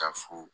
Ka fo